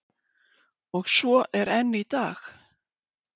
Og svo er enn í dag.